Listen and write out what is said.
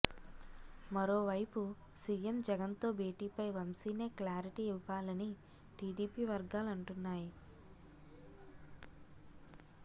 మరో వైపు సీఎం జగన్తో భేటీపై వంశీనే క్లారిటీ ఇవ్వాలని టీడీపీ వర్గాలంటున్నాయి